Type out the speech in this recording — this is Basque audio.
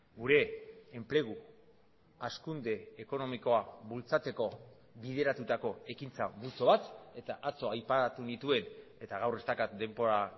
gure enplegu hazkunde ekonomikoa bultzatzeko bideratutako ekintza multzo bat eta atzo aipatu nituen eta gaur ez daukat denbora